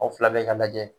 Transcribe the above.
Aw fila bɛɛ ka lajɛ